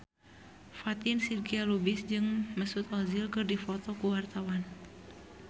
Fatin Shidqia Lubis jeung Mesut Ozil keur dipoto ku wartawan